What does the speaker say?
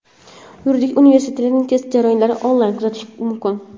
Yuridik universitetining test jarayonlarini onlayn kuzatish mumkin.